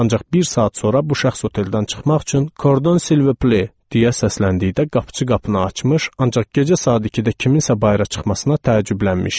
Ancaq bir saat sonra bu şəxs oteldən çıxmaq üçün "Kordon Silviple" deyə səsləndikdə qapıçı qapını açmış, ancaq gecə saat 2-də kimsə bayıra çıxmasına təəccüblənmişdi.